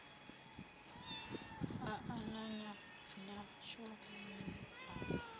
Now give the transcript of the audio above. a anana natsho ni a